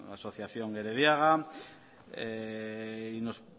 asociación gerediaga y nos